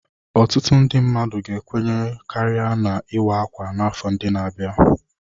Ọtụtụ ndị mmadụ ga-ekwere karịa na ""ịwa ákwà "n'afọ ndị na-abịa."